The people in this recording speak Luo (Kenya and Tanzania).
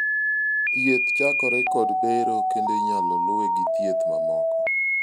thieth chakore kod bero kendo inyalo luwe gi thieth mamoko